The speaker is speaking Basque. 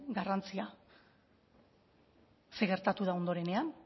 garrantzia zer gertatu da ondorenean